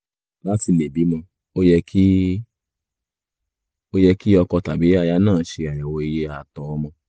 láti lè bímọ ó yẹ kí ó yẹ kí ọkọ tàbí aya náà ṣe àyẹ̀wò iye ààtọ̀ ọmọ